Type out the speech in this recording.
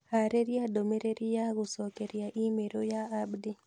haarĩria ndũmĩrĩri ya gũcokeria i-mīrū ya Abdi